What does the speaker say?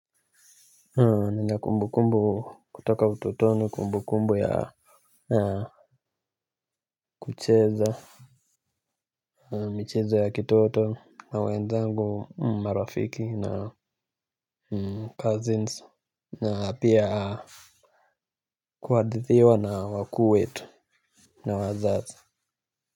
Nina kumbukumbu kutoka utotoni kumbukumbu ya Kucheza Michezo ya kitoto na wenzangu marafiki na cousins. Na pia kuhadithiwa na wakuu wetu. Na wazazi.